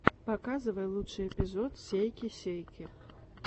показывай лучший эпизод сейки сейки